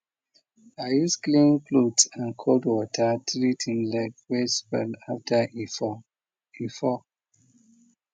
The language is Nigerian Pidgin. i use clean cloth and cold water treat him leg wey swell after e fall e fall